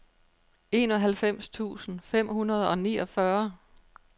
enoghalvfems tusind fem hundrede og niogfyrre